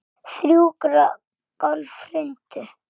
Þrjú gólf hrundu.